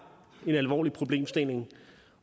en alvorlig problemstilling